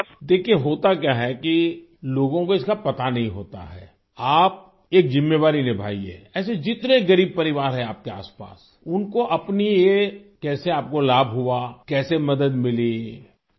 دیکھئے ہوتاکیا ہے کہ لوگوں کو اس کا پتہ ہی نہیں ہوتا ہے، آپ ایک ذمہ داری نبھایئے ایسے جتنے غریب خاندان ہیں، آپ کے آس پاس، ان کو اپنی یہ کیسے آپ کو فائدہ ہوا، کیسے مدد ملی یہ بتایئے؟